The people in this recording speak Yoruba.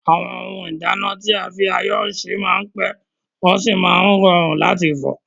Àwọn ohun ìdáná tí a fi ayọ́ se máa n pẹ́, wọ́n sì máa n rọrùn láti fọ̀.